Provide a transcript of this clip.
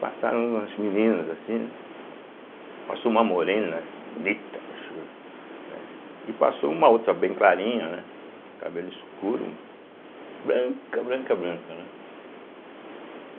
Passaram umas meninas assim, né, passou uma morena, bonita, né e passou uma outra, bem clarinha, né, cabelo escuro, branca, branca, branca, né.